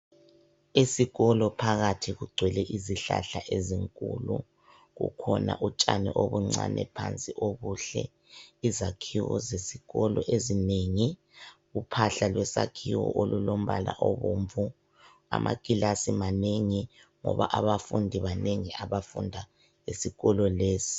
Esikolo phakathi kugcwele izihlahla ezinkulu. Kukhona utshani obuncane phansi obuhle. Izakhiwo zesikolo ezinengi. Uphahla lwesakhiwo, olulombala obomvu Amakilasi manengi, ngoba abafundi banengi, abafunda esikolo lesi.